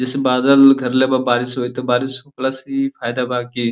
जैसे बादल घेरले बा बारिश होई तो बारिश प्लस इ फायदा बा की --